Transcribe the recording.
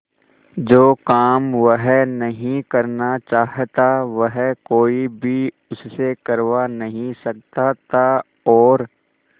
जो काम वह नहीं करना चाहता वह कोई भी उससे करवा नहीं सकता था और